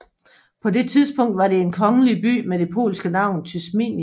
På det tidspunkt var det en kongelig by med det polske navn Tysmienica